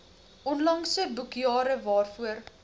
onlangse boekjare waarvoor